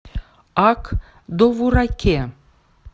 ак довураке